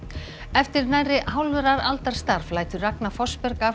eftir nærri hálfrar aldar starf lætur Ragna Fossberg af